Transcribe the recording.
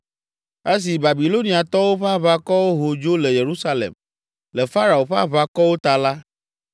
Esi Babiloniatɔwo ƒe aʋakɔwo ho dzo le Yerusalem, le Farao ƒe aʋakɔwo ta la,